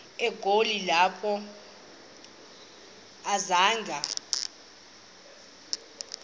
egoli apho akazanga